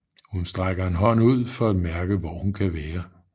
Hun strækker en hånd ud for at mærke hvor hun kan være